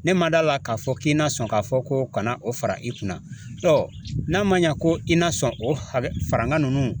Ne ma d'a la k'a fɔ k'i na sɔn k'a fɔ ko kana o fara i kunna n'a ma ɲa ko i na sɔn o hakɛ farinna nunnu